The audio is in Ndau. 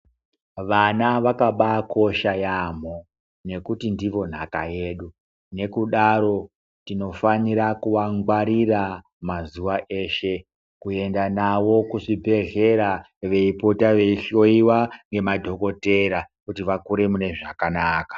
Vana vakakosha yaambo, nekuti ndivo nhaka yedu, nekudaro tinofanira kuvangwarira mazuva eshe ,kuendanavo kuzvibhedleya beyipota beyihloyiwa nemadhogodheya kuti vakure munezvakanaka.